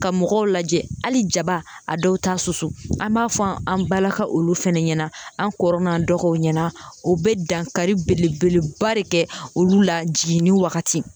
Ka mɔgɔw lajɛ hali jaba a dɔw t'a susu an b'a fɔ an balaka olu fana ɲɛna an kɔrɔ n'an dɔgɔw ɲɛna u bɛ dankari belebeleba de kɛ olu la jiginni wagati